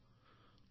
ধন্যবাদ মহোদয়